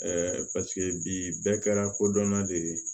paseke bɛɛ kɛra kodɔnna de ye